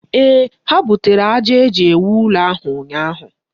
Ee, ha butere aja e ji ewu ụlọ ahụ ụnyaahụ.